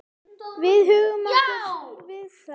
Við huggum okkur við það.